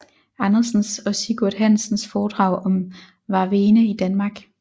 Andersens og Sigurd Hansens Foredrag om Varvene i Danmark